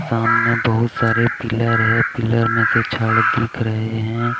सामने बहुत सारे पिलर है पिलर में से जड़ दिख रहे हैं.